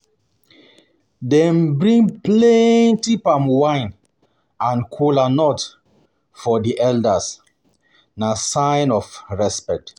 Dem bring plenty palmwine and kola nut for di elders, na sign of respect